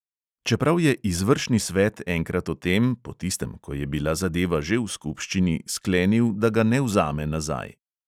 Čeprav je izvršni svet enkrat o tem, po tistem, ko je bila zadeva že v skupščini, sklenil, da ga ne vzame nazaj.